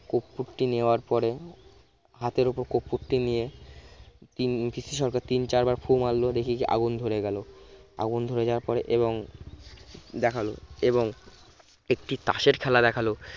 কর্পূরটি নেওয়ার পরে হাতের উপর কর্পূরটি নিয়ে তিনি পিসি সরকার তিন-চারবার ফু মারলো দেখি আগুন ধরে গেল আগুন ধরে যাওয়ার পরে এবং দেখালো এবং একটি তাসের খেলা দেখালো